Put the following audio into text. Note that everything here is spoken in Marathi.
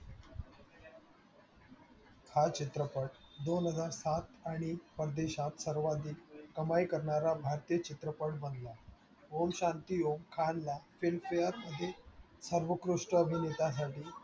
हा चित्रपट दोन हजार सात आणि परदेशात सर्वाधिक कमाई करणारा भारतीय चित्रपट बनला. ओम शांती ओम खानला film fare मध्ये सर्वोत्कृष्ट अभिनेता साठी